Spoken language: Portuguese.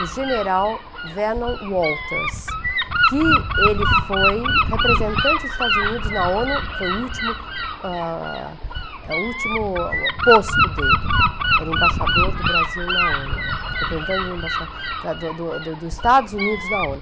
O general Vernon Walters, que ele foi representante dos Estados Unidos na ONU, foi o último ah, é, posto dele, era embaixador do Brasil na ONU, representante do embaixa do do do Estados Unidos na ONU.